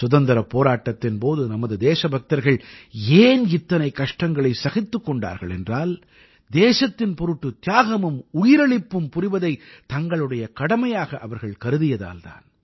சுதந்திரப் போராட்டத்தின் போது நமது தேசபக்தர்கள் ஏன் இத்தனை கஷ்டங்களை சகித்துக் கொண்டார்கள் என்றால் தேசத்தின் பொருட்டு தியாகமும் உயிரளிப்பும் புரிவதைத் தங்களுடைய கடமையாக அவர்கள் கருதியதால் தான்